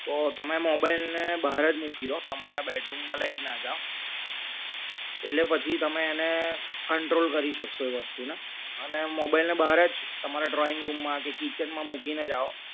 તો તમે mobile ને બહાર જ મૂકી દો તમારા bedroom લઈ જ ના જાવ એટલે પછી તમે એને control કરી શકશો એ વસ્તુ ને અને mobile ને બર્જ તમારા drawing room માં કે kitchen માં મુકેનેજ આવો